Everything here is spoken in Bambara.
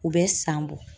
U bɛ san bɔ